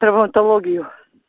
травматологию